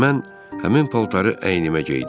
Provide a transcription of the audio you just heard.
Mən həmin paltarı əynimə geydim.